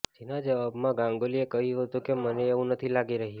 જેના જવાબમાં ગાંગુલીએ કહ્યું હતુ કે મને એવુ નથી લાગી રહ્યુ